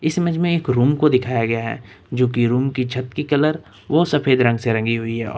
इस इमेज में एक रूम को दिखाया गया है जो कि रूम की छत की कलर वो सफेद रंग से रंगी हुई है और--